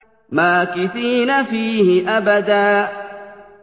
مَّاكِثِينَ فِيهِ أَبَدًا